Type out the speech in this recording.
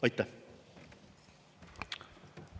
Aitäh!